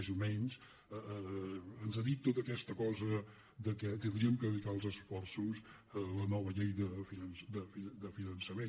més o menys ens ha dit to·ta aquesta cosa que hauríem de dedicar els esforços a la nova llei de finançament